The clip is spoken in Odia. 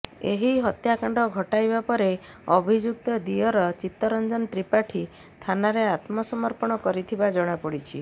ଏହି ହତ୍ୟାକାଣ୍ଡ ଘଟାଇବା ପରେ ଅଭଯୁକ୍ତ ଦିଅର ଚିତ୍ତରଞ୍ଜନ ତ୍ରିପାଠୀ ଥାନାରେ ଆତ୍ମସମର୍ପଣ କରିଥିବା ଜଣାପଡିଛି